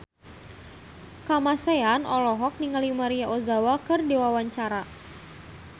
Kamasean olohok ningali Maria Ozawa keur diwawancara